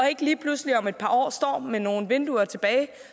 ikke lige pludselig om et par år står tilbage med nogle vinduer